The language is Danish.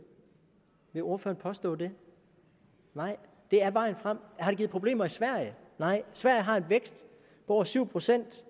vil ordføreren påstå det nej det er vejen frem har det givet problemer i sverige nej sverige har en vækst på over syv procent